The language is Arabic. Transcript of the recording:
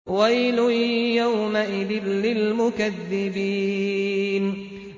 وَيْلٌ يَوْمَئِذٍ لِّلْمُكَذِّبِينَ